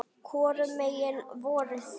Hvorum megin voruð þið?